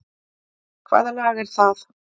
Hvaða lag er það?